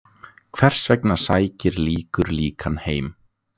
Hvers vegna sækir líkur líkan heim?